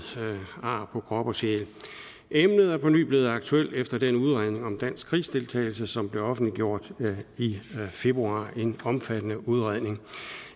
ar på krop og sjæl emnet er på ny blevet aktuelt efter den udredning om dansk krigsdeltagelse som blev offentliggjort i februar en omfattende udredning